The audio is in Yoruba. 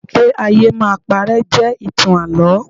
Pé ayé máa paré jẹ́ ìtàn Àlọ́.